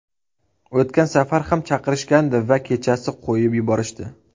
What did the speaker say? O‘tgan safar ham chaqirishgandi va kechasi qo‘yib yuborishdi.